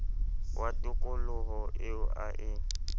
wa tokoloho eo a e